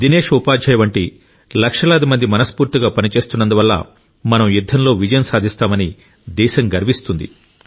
దినేష్ ఉపాధ్యాయ వంటి లక్షలాది మంది మనస్ఫూర్తిగా పనిచేస్తున్నందు వల్ల మనం యుద్ధంలో విజయం సాధిస్తామని దేశం గర్విస్తుంది